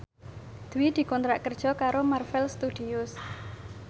Dwi dikontrak kerja karo Marvel Studios